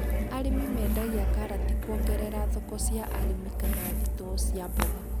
Arĩmi mendagia karati kũgerera thoko cia arĩmi kana thitoo cia mboga.